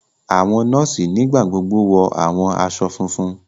Àwọn nọọsi nigbagbogbo wọ awọn aṣọ fúnfún.